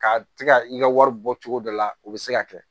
Ka ti ka i ka wari bɔ cogo dɔ la o bɛ se ka kɛ